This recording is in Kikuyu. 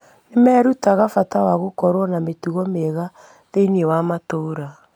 Nĩ merutaga bata wa gũkorũo na mĩtugo mĩega thĩinĩ wa matũũra.